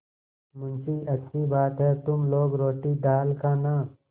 मुंशीअच्छी बात है तुम लोग रोटीदाल खाना